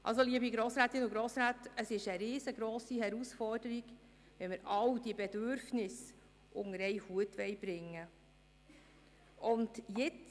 Also, liebe Grossrätinnen und Grossräte, es ist eine riesengrosse Herausforderung, wenn wir alle diese Bedürfnisse unter einen Hut bringen wollen.